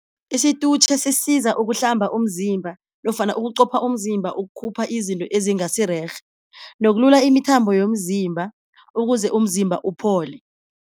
Isitutjhe sisiza ukuhlamba umzimba nofana ukuqopha umzimba ukukhupha izinto ezingasirerhe nokulula imithambo yomzimba ukuze umzimba uphole.